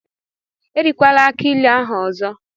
Erikwala akii ilu ahụ ọzọ!